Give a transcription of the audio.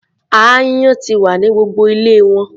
Aáyán ti wà ní gbogbo ilé wọn.